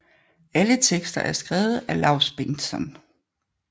Alle tekster er skrevet af Laus Bengtsson